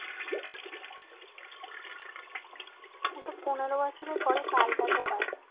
কিন্তু পনেরো বছরের পরে পাল্টাতে হয়।